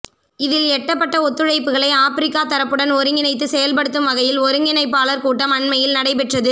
இதில் எட்டப்பட்ட ஒத்துழைப்புகளை ஆப்பிரிக்கத் தரப்புடன் ஒருங்கிணைந்து செயல்படுத்தும் வகையில் ஒருங்கிணைப்பாளர் கூட்டம் அண்மையில் நடைபெற்றது